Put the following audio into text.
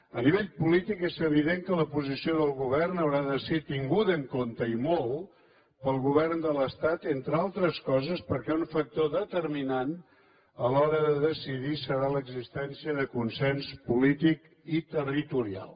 a nivell polític és evident que la posició del govern haurà de ser tinguda en compte i molt pel govern de l’estat entres altres coses perquè un factor determinant a l’hora de decidir serà l’existència de consens polític i territorial